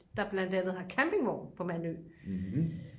der blandt andet har campingvogn på mandø